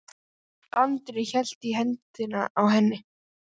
Andri hélt í hendina á henni.